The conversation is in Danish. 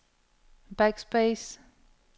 backspace